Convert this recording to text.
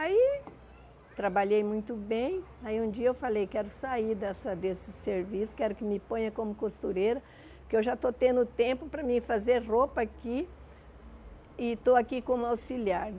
Aí trabalhei muito bem, aí um dia eu falei quero sair dessa desse serviço, quero que me ponha como costureira, que eu já estou tendo tempo para mim fazer roupa aqui e estou aqui como auxiliar.